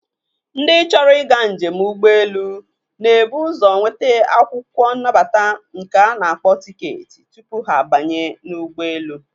Ndị chọrọ ịga njem ụgbọelu na-ebu ụzọ nweta akwụkwọ nnabata nke a na-akpọ tiketi tupu ha abanye n'ụgbọelu.